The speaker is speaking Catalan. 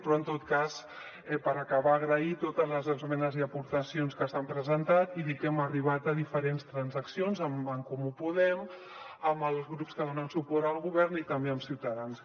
però en tot cas per acabar agrair totes les esmenes i aportacions que s’han presentat i dir que hem arribat a diferents transaccions amb en comú podem amb els grups que donen suport al govern i també amb ciutadans